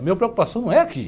A minha preocupação não é aqui.